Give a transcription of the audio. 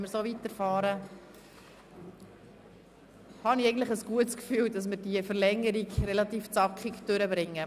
Wenn wir so weiterfahren, habe ich ein gutes Gefühl, dass wir diese Verlängerung der Novembersession zackig durchbringen.